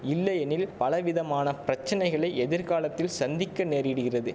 இல்லையெனில் பலவிதமான பிரச்சனைகளை எதிர்காலத்தில் சந்திக்க நேரிடுகிறது